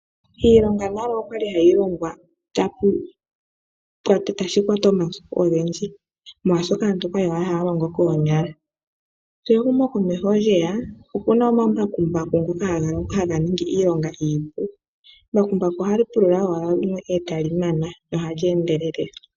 Iilonga nale okwali hayi longwa tashi kwata omasiku ogendji, molwaashoka aantu okwali owala haya longo koonyala. Shi ehumokomeho lyeya, okuna omambakumbaku ngoka haga ningi iilongaa iipu. Embakumbaku ohali pulula owala owili yimwe e tali mana, nohali endelele.